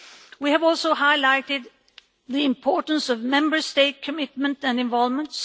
We have also highlighted the importance of Member State commitment and involvement.